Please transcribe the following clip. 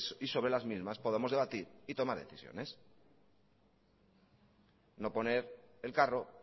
que sobre las mismas podamos debatir y tomar decisiones no poner el carro